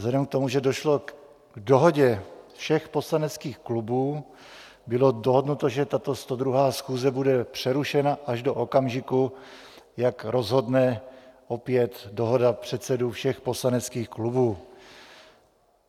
Vzhledem k tomu, že došlo k dohodě všech poslaneckých klubů, bylo dohodnuto, že tato 102. schůze bude přerušena až do okamžiku, jak rozhodne opět dohoda předsedů všech poslaneckých klubů.